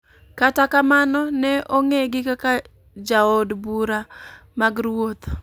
kata kamano ne ong'egi kaka jood bura mag ruoth.